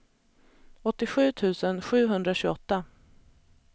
åttiosju tusen sjuhundratjugoåtta